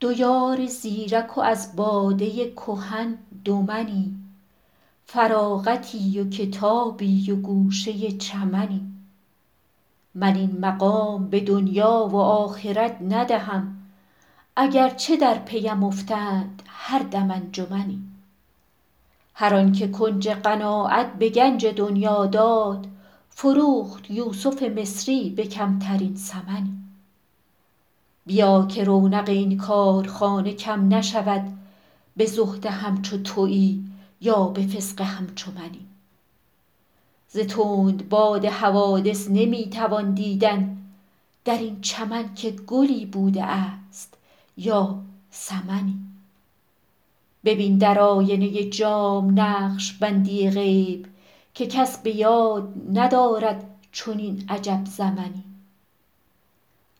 دو یار زیرک و از باده کهن دو منی فراغتی و کتابی و گوشه چمنی من این مقام به دنیا و آخرت ندهم اگر چه در پی ام افتند هر دم انجمنی هر آن که کنج قناعت به گنج دنیا داد فروخت یوسف مصری به کمترین ثمنی بیا که رونق این کارخانه کم نشود به زهد همچو تویی یا به فسق همچو منی ز تندباد حوادث نمی توان دیدن در این چمن که گلی بوده است یا سمنی ببین در آینه جام نقش بندی غیب که کس به یاد ندارد چنین عجب زمنی